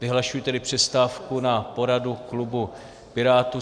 Vyhlašuji tedy přestávku na poradu klubu Pirátů.